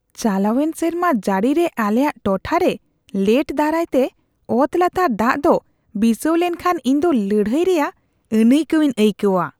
ᱪᱟᱞᱟᱣᱮᱱ ᱥᱮᱨᱢᱟ ᱡᱟᱹᱲᱤᱨᱮ ᱟᱞᱮᱭᱟᱜ ᱴᱚᱴᱷᱟᱨᱮ ᱞᱮᱴ ᱫᱟᱨᱟᱭᱛᱮ ᱚᱛᱞᱟᱛᱟᱨ ᱫᱟᱜ ᱫᱚ ᱵᱤᱥᱟᱹᱣ ᱞᱮᱱᱠᱷᱟᱱ ᱤᱧᱫᱚ ᱞᱟᱹᱲᱦᱟᱹᱭ ᱨᱮᱭᱟᱜ ᱟᱹᱱᱟᱹᱭᱠᱟᱹᱣᱤᱧ ᱟᱹᱭᱠᱟᱹᱣᱟ ᱾